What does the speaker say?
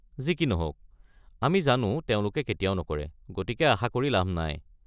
যি কি নহওক, আমি জানো তেওঁলোকে কেতিয়াও নকৰে, গতিকে আশা কৰি লাভ নাই।